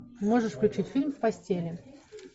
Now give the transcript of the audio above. можешь включить фильм в постели